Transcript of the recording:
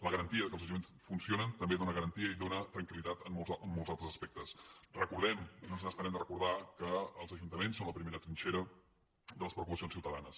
la garantia que els ajuntaments funcionen també dó·na garantia i dóna tranquil·recordem no ens n’estarem de recordar·ho que els ajuntaments són la primera trinxera de les preocupa·cions ciutadanes